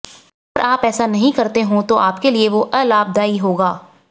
अगर आप ऐसा नहीं करते हो तो आपके लिए वो अलाभदायी होगा